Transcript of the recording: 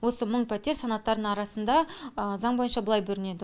осы мың пәтер санаттардың арасында заң бойынша былай бөлінеді